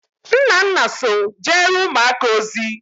Nnanna so jere umuaka ozi